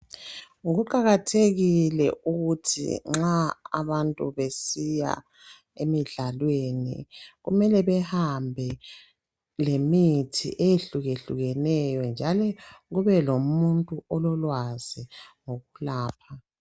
Kuqakathekile ukuthi nxa abantu besiya emdlalwe kumele bahambe lemithi ehlukehlukeneyo . Njalo kube lomuntu ololwazi lokulapha.